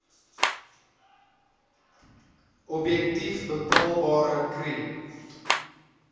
objektief bepaalbare kri